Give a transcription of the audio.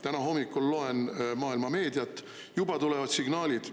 Täna hommikul loen maailma meediat – juba tulevad signaalid.